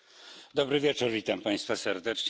Dobry wieczór, witam Państwa serdecznie.